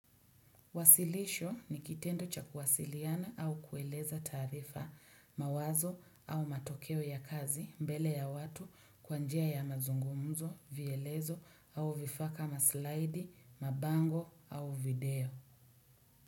Wasilisho, ni kitendo cha kuwasiliana, au kueleza taarifa, mawazo au matokeo ya kazi, mbele ya watu, kwa njia ya mazungumzo, vielezo au vifaka maslaidi, mabango au video.